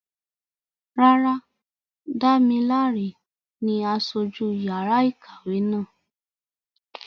Rárá, Damilare ni aṣojú yàrá ìkàwé náà.